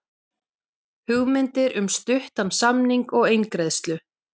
Hugmyndir um stuttan samning og eingreiðslu